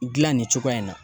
Gilan nin cogoya in na